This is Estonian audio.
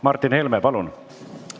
Martin Helme, palun!